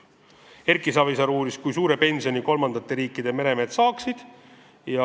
Erki Savisaar uuris, kui suure pensioni kolmandate riikide meremehed saaksid.